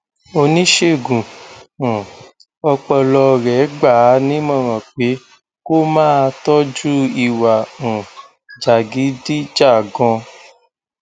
oníṣègùn um ọpọlọ rẹ gbà á nímọràn pé kó máa tọjú ìwà um jàgídíjàgan